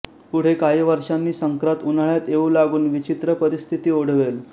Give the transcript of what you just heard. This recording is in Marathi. पुढे काही वर्षांनी संक्रात उन्हाळ्यात येऊ लागून विचित्र परिस्थिती ओढवेल